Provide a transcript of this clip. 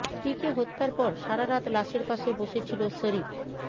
স্ত্রীকে হত্যার পর সারা রাত লাশের পাশে বসে ছিল শরিফ